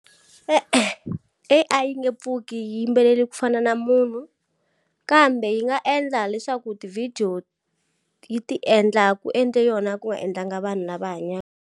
E-e, A_I yi nge pfuki yi yimbelele ku fana na munhu. Kambe yi nga endla leswaku tivhidiyo yi ti endla ku endle yona, ku nga endlanga vanhu lava hanyaka.